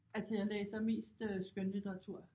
Altså jeg læser mest øh skønlitteratur